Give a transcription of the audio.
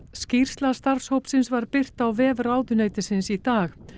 skýrsla starfshópsins var birt á vef ráðuneytisins í dag